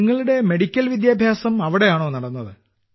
നിങ്ങളുടെ മെഡിക്കൽ വിദ്യാഭ്യാസം അവിടെയാണോ നടന്നത്